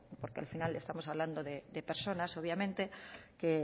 porque al final estamos hablando de personas obviamente que